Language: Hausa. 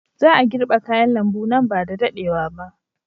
Za a girbe kayan lambu nan ba da daɗewa ba.